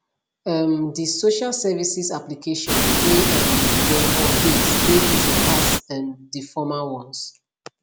um di social services application wey um dem update dey easy pass um di former ones